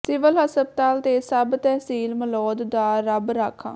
civil ਹਸਪਤਾਲ ਤੇ sub tehsil Malaud ਦਾ ਰੱਬ ਰਾਖਾ